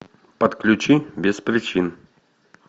подключи без причин